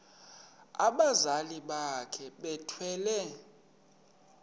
abazali bakhe bethwele